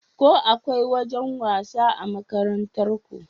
Ko akwai wajen wasa a makarantarku?